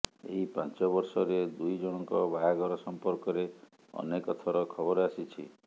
ଏହି ପାଞ୍ଚ ବର୍ଷରେ ଦୁଇ ଜଣଙ୍କ ବାହାଘର ସଂପର୍କରେ ଅନେକ ଥର ଖବର ଆସିଛି